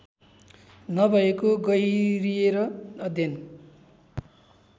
नभएको गहिरिएर अध्ययन